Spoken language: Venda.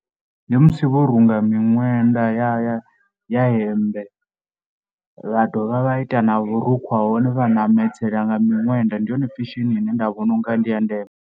Ndi musi vho runga miṅwenda ya ya hemmbe, vha dovha vha ita na vhurukhu ha hone, vha ṋameledzela nga miṅwenda. Ndi yone fashion ine nda vhona u nga ndi ya ndeme.